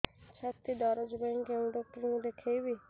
ଛାତି ଦରଜ ପାଇଁ କୋଉ ଡକ୍ଟର କୁ ଦେଖେଇବି